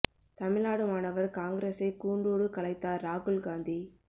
தமிழ்நாடு மாணவர் காங்கிரஸை கூண்டோடு கலைத்தார் ராகுல் காந்தி